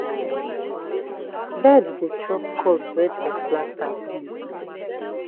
bird dey chop corn when dem plant am new.